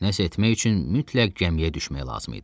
Nəsə etmək üçün mütləq gəmiyə düşmək lazım idi.